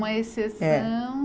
Uma exceção.